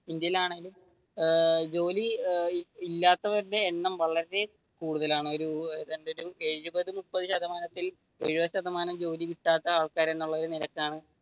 ഇന്ത്യയിലാണെങ്കിൽ ജോലി ഇല്ലാത്തവരുടെ എണ്ണം വളരെ കൂടുതലാണ് ഒരു എഴുപതു മുപ്പതു ശതമാനത്തിൽ എഴുപതു ശതമാനം ജോലി കിട്ടാത്ത ആൾക്കാർ എന്നുള്ള നിരക്കാണ്.